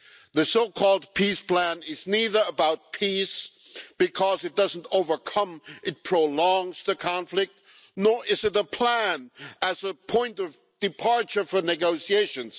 The so-called peace plan is neither about peace, because it doesn't overcome it prolongs the conflict, nor is it a plan as a point of departure for negotiations.